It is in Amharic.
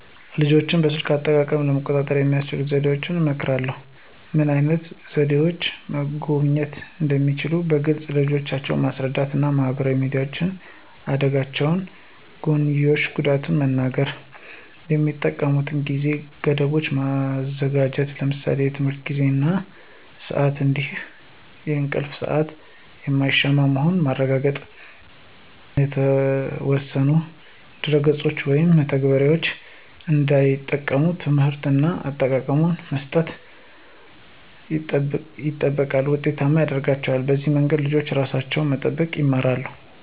ልጆችን በስልክ አጠቃቀም ለመቆጣጠር የሚከተሉትን ዘዴዎች እመክራለሁ። ምን ዓይነት ይዘቶችን መጎብኘት እንደሚገባቸው በግልፅ ልጆችን ማስረዳት እና የማህበራዊ ሚዲያ አደጋዎች ጎንዮሽ ጉዳት መንገር። የሚጠቀሙበትን የጊዜ ገደቦች ማዘጋጀት ለምሳሌ የትምህርት ጊዜ እና ስአት እንዲሁም የእንቅልፍ ሰአት የማይሻማ መሆኑን ማረጋገጥ። መጥፎ የሆኑ የተወሰኑ ድረ-ገጾችን ወይም መተግበሪያዎችን እንዳይጠቀሙ ትምህርት እና እውቀት መስጠት ይበልጥ ውጤታማ ያረጋቸዋል። በዚህ መንገድ ልጆች ራሳቸውን መጠበቅ ይማራሉ።